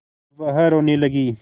वह रोने लगी